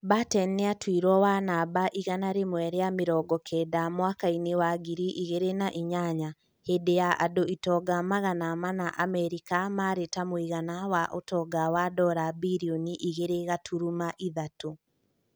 Batten nĩatuirwo wa namba igana rĩmwe rĩa mĩrongo kenda mwakainĩ wa ngiri igiri na inyanya hĩndĩ ya andũ itonga magana mana America mari na ta mũigana wa utonga wa dora birioni igĩrĩ gũturuma ithatu